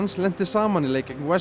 lenti saman í leik gegn